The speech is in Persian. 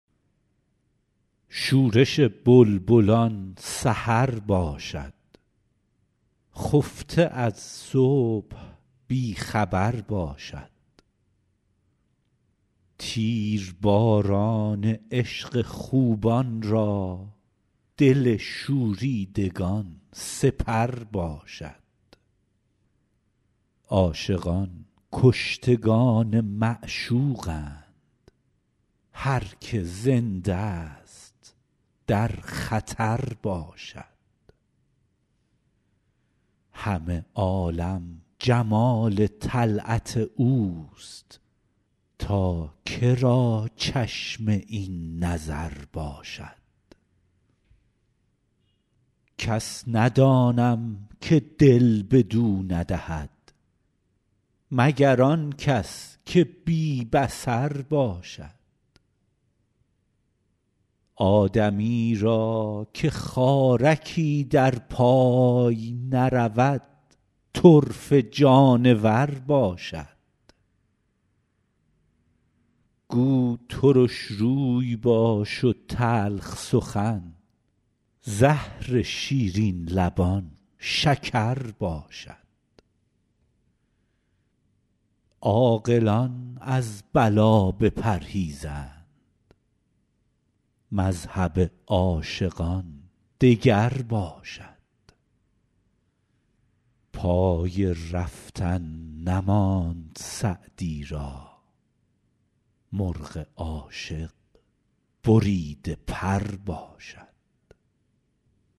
شورش بلبلان سحر باشد خفته از صبح بی خبر باشد تیرباران عشق خوبان را دل شوریدگان سپر باشد عاشقان کشتگان معشوقند هر که زنده ست در خطر باشد همه عالم جمال طلعت اوست تا که را چشم این نظر باشد کس ندانم که دل بدو ندهد مگر آن کس که بی بصر باشد آدمی را که خارکی در پای نرود طرفه جانور باشد گو ترش روی باش و تلخ سخن زهر شیرین لبان شکر باشد عاقلان از بلا بپرهیزند مذهب عاشقان دگر باشد پای رفتن نماند سعدی را مرغ عاشق بریده پر باشد